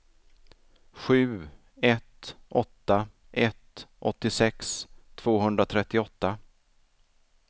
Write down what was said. sju ett åtta ett åttiosex tvåhundratrettioåtta